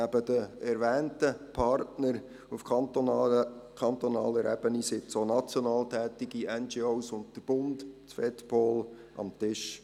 Neben den erwähnten Partnern auf kantonaler Ebene sitzen auch national tätige NGO und das Bundesamt für Polizei (Fedpol) mit am Tisch.